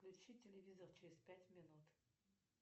включи телевизор через пять минут